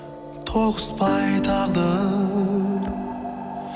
тоғыспай тағдыр